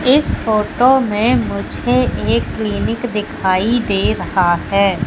इस फोटो में मुझे एक क्लीनिक दिखाई दे रहा है।